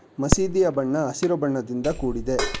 ಮಸೀದಿಯ ಬಣ್ಣ ಹಸಿರು ಬಣ್ಣದಿಂದ ಕೂಡಿದೆ.